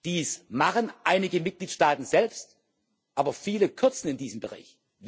Dies machen einige Mitgliedstaaten selbst, aber viele kürzen in diesem Bereich.